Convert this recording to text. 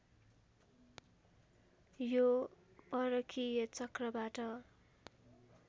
यो परकीय चक्रबाट